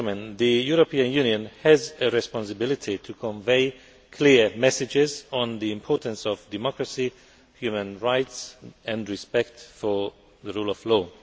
The European Union has a responsibility to convey clear messages on the importance of democracy, human rights and respect for the rule of law.